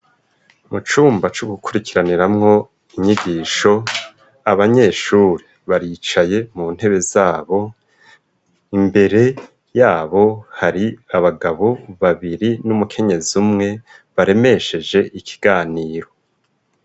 Mucumba co gukurikiraniramwo inyigisho abanyeshuri baricaye mu ntebe zabo imbere yabo hari abagabo babiri n'umukenyezi umwe baremesheje ikiganiro.